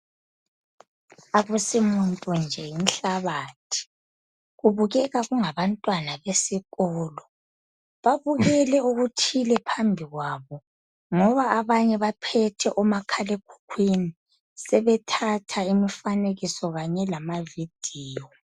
Akusimuntu nje yinhlabathi kubukeka kungaba ntwana besikolo, babukele okuthile phambi kwabo ngoba abanye baphethe omakhalekhukhwini sebethatha imifanekiso kanye lamavidiyo.